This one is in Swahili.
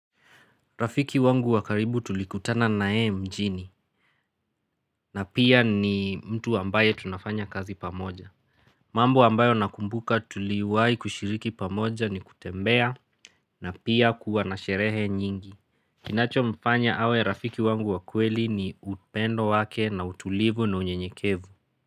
Rafiki wangu wa karibu tulikutana nayeye mjini. Na pia ni mtu ambaye tunafanya kazi pamoja. Mambo ambayo nakumbuka tuliwahi kushiriki pamoja ni kutembea na pia kuwa na sherehe nyingi. Kinachomfanya awe rafiki wangu wa kweli ni upendo wake na utulivu na unyenyekevu.